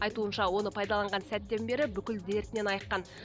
айтуынша оны пайдаланған сәттен бері бүкіл дертінен айыққан